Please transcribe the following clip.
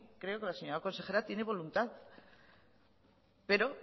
creo que la señora consejera tiene voluntad pero